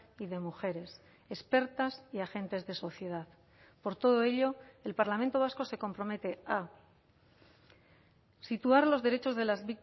y de mujeres expertas y agentes de sociedad por todo ello el parlamento vasco se compromete a situar los derechos de las